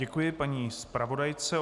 Děkuji paní zpravodajce.